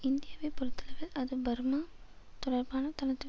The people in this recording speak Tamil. இந்தியாவைப் பொறுத்தளவில் அது பர்மா தொடர்பான தனது